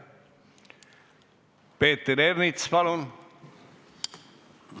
Peeter Ernits, palun!